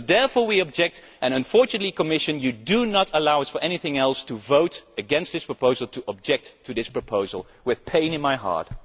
So therefore we object, and unfortunately, Commission, you do not allow us to do anything other than to vote against this proposal, to object to this proposal, with pain in our hearts.